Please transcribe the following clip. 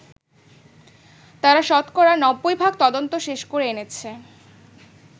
তারা শতকরা নব্বই ভাগ তদন্ত শেষ করে এনেছে।